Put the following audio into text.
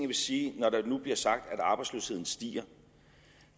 vil sige når der nu bliver sagt at arbejdsløsheden stiger